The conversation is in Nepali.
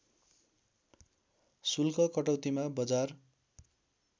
शुल्क कटौतीमा बजार